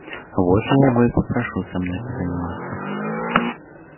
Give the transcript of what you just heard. вот его я и попрошу со мной позаниматься